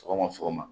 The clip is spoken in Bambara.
Sɔgɔma sɔgɔma